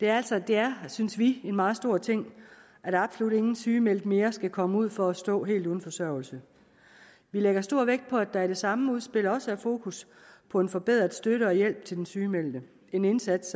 er syge det er synes vi en meget stor ting at absolut ingen sygemeldte mere skal komme ud for at stå helt uden forsørgelse vi lægger stor vægt på at der i det samme udspil også er fokus på en forbedret støtte og hjælp til den sygemeldte en indsats